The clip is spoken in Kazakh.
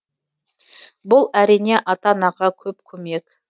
бұл әрине ата анаға көп көмек